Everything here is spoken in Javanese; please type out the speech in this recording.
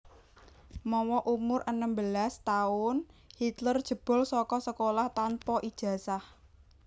Mawa umur enem belas taun Hitler jebol saka sekolah tanpa ijazah